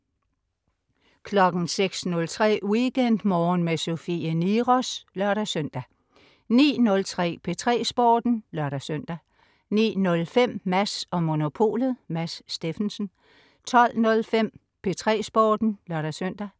06.03 WeekendMorgen med Sofie Niros (lør-søn) 09.03 P3 Sporten (lør-søn) 09.05 Mads & Monopolet. Mads Steffensen 12.05 P3 Sporten (lør-søn)